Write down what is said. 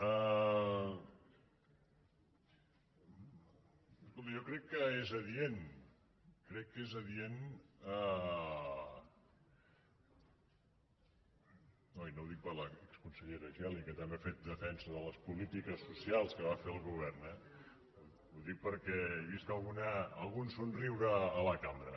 escolti jo crec que és adient crec que és adient i no ho dic per l’exconsellera geli que també ha fet defensa de les polítiques socials que va fer el govern eh ho dic perquè he vist algun somriure a la cambra